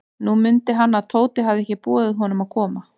Nú mundi hann, að Tóti hafði ekki boðið honum að koma.